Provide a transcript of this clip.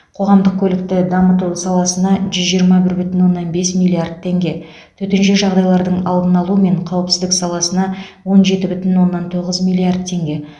қоғамдық көлікті дамыту саласына жүз жиырма бір бүтін оннан бес миллиард теңге төтенше жағдайлардың алдын алу мен қауіпсіздік саласына он жеті бүтін оннан тоғыз миллиард теңге